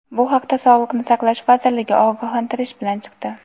Bu haqda Sog‘liqni saqlash vazirligi ogohlantirish bilan chiqdi.